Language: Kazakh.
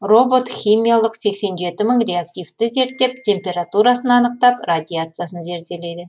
робот химиялық сексен жеті мың реактивті зерттеп температурасын анықтап радиациясын зерделейді